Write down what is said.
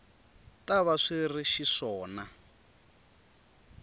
ta va swi ri xiswona